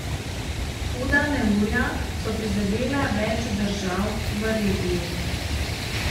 Huda neurja so prizadela več držav v regiji.